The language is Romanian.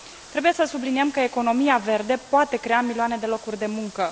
trebuie să subliniem că economia verde poate crea milioane de locuri de muncă.